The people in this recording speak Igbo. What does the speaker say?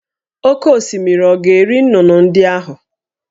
Oké osimiri ọ̀ ga-eri nnụnụ ndị ahụ?